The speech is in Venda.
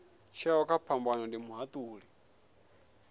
tsheo kha phambano ndi muhatuli